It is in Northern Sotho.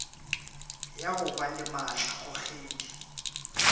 ya go ba le maatlakgogedi